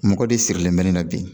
Mɔgɔ de sirilen bɛ ne na bi